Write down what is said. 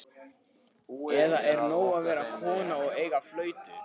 Eða er nóg að vera kona og eiga flautu?